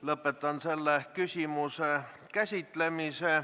Lõpetan selle küsimuse käsitlemise.